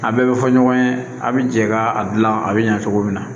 A bɛɛ bɛ fɔ ɲɔgɔn ye a' bɛ jɛ ka a dilan a bɛ ɲɛ cogo min na